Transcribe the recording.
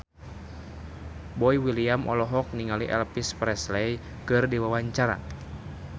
Boy William olohok ningali Elvis Presley keur diwawancara